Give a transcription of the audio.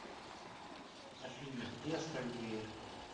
афина где остальные